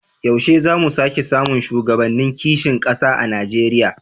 Yaushe za mu sake samun shugabannin kishin kasa a Najeriya?